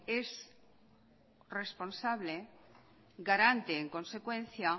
es responsable garante en consecuencia